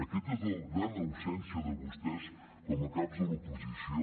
aquesta és la gran absència de vostès com a caps de l’oposició